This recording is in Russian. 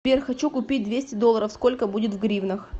сбер хочу купить двести долларов сколько будет в гривнах